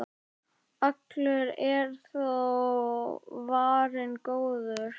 Allur er þó varinn góður.